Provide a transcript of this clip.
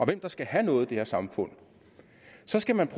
hvem der skal have noget i det her samfund så skal man